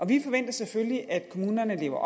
vi forventer selvfølgelig at kommunerne lever